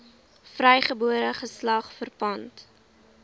vrygebore geslag verpand